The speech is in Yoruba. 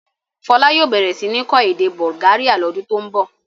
Fọlá yóò bẹ̀rẹ̀ sí ní kọ́ èdè Bulgaria lodun tó ń bọ̀.